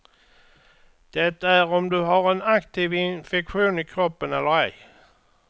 Det är om du har en aktiv infektion i kroppen eller ej.